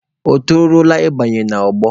O toruola ị banye n'ọgbọ?